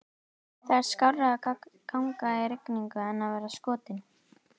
Það er skárra að ganga í rigningu en að vera skotinn